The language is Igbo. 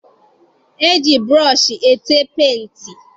E ji burọshi ete penti.